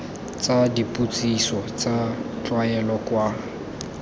tsa dipotsiso tsa tlwaelo kwa